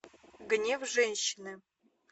гнев женщины